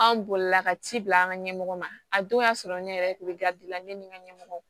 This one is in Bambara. An bolila ka ci bila an ka ɲɛmɔgɔ ma a don y'a sɔrɔ ne yɛrɛ tun bɛ garidi la ne ni n ka ɲɛmɔgɔ